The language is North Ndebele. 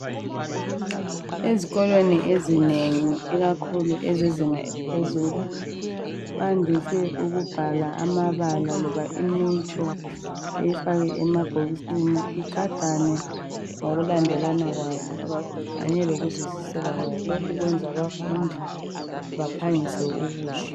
Ezikolweni ezinengi ikakhulu ezezinga eliphezulu bandise ukubhala amabala loba imitsho beyifake emabhokisini igadane ngokulandelana kwayo kanye lokuzwisiseka kwayo lokhu kwenza abafundi baphangise ukuzwa